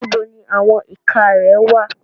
Níbo ni àwọn ìka rẹ wà?